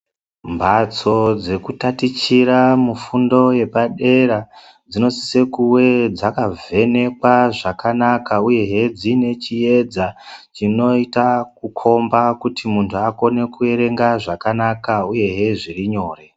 Mhatso dzekutatichira mufundo yepadera, dzinosise kunge dzakavhenekwa zvakanaka uyehe dziine chiyedza, chinoita kukhomba kuti muntu akone kuerenga zvakanaka uyehe zvirinyore.